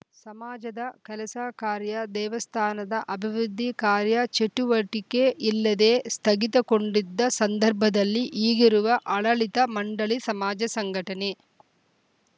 ಸಮಾಜದ ಕೆಲಸ ಕಾರ್ಯ ದೇವಸ್ಥಾನದ ಅಭಿವೃದ್ಧಿ ಕಾರ್ಯ ಚಟುವಟಿಕೆ ಇಲ್ಲದೇ ಸ್ಥಗಿತಕೊಂಟಿದ್ದ ಸಂದರ್ಭದಲ್ಲಿ ಈಗಿರುವ ಅಡ ಳಿತ ಮಂಡಳಿ ಸಮಾಜ ಸಂಘಟನೆ